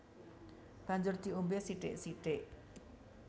Banjur diombé sithik sithik